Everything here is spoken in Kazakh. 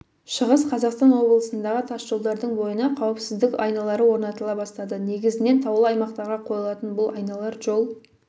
шығыс қазақстан облысындағы тасжолдардың бойына қауіпсіздік айналары орнатыла бастады негізінен таулы аймақтарға қойылатын бұл айналар жол